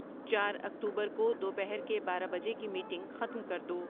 چار اکتوبر کو دوپہر کے بارہ بجے کی میٹنگ ختم کر دو